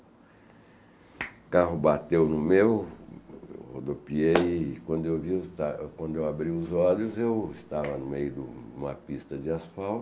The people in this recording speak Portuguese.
O carro bateu no meu, eu rodopiei e quando eu vi esta eu abri os olhos eu estava no meio de uma pista de asfalto